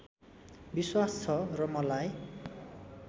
विश्वास छ र मलाई